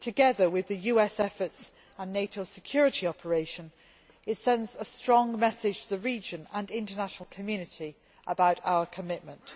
Together with the US efforts and NATO security operations, it sends a strong message to the region and international community about our commitment.